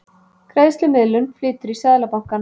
Greiðslumiðlun flytur í Seðlabankann